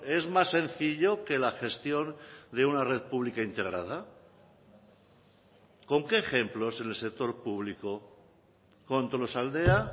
es más sencillo que la gestión de una red pública integrada con qué ejemplos el sector público con tolosaldea